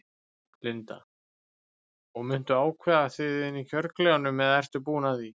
Linda: Og muntu ákveða þið inni í kjörklefanum eða ertu búinn að því?